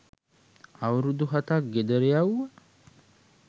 අවුරුදු හතක් ගෙදර යැවුව